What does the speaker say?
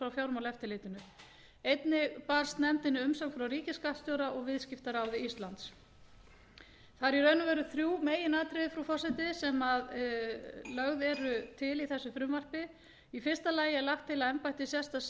fjármálaeftirlitinu nefndinni barst umsögn frá ríkisskattstjóra og viðskiptaráði íslands það eru í raun og veru frú meginatriði frú forseti sem lögð eru til í þessu frumvarpi í fyrsta lagi lagt til að embætti sérstaks